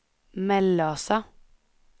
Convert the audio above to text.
Mellösa